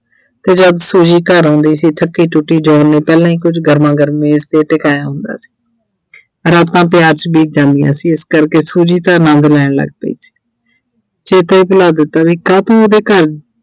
ਤੇ ਜਦ Suji ਘਰ ਆਉਂਦੀ ਸੀ ਥੱਕੀ-ਟੁੱਟੀ John ਨੇ ਪਹਿਲਾਂ ਹੀ ਕੁਝ ਗਰਮਾ-ਗਰਮ ਮੇਜ਼ ਤੇ ਟਿਕਾਇਆ ਹੁੰਦਾ ਸੀ ਰਾਤਾਂ ਪਿਆਰ 'ਚ ਬੀਤ ਜਾਂਦੀਆ ਸੀ ਇਸ ਕਰਕੇ Suji ਤਾਂ ਆਨੰਦ ਲੈਣ ਲੱਗ ਪਈ ਸੀ। ਛੇਤੀ ਇਹ ਭੁਲਾ ਦਿੱਤਾ ਵੀ ਕਾਤੋਂ ਉਹਦੇ ਘਰ